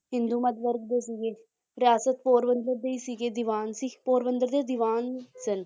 ਹਿੰਦੂ ਮੱਧ ਵਰਗ ਦੇ ਸੀਗੇ ਰਿਆਸਤ ਪੋਰਬੰਦਰ ਦੇ ਹੀ ਸੀਗੇ ਦਿਵਾਨ ਸੀ ਪਰੋਬੰਦਰ ਦੇ ਦੀਵਾਨ ਸਨ